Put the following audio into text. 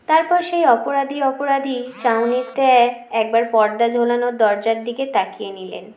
তারপর সে অপরাধী অপরাধী চাহনিতে একবার পর্দা ঝোলানো দরজার দিকে তাকিয়ে নিলেন